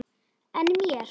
En mér?